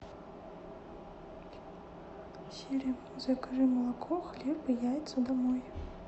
сири закажи молоко хлеб и яйца домой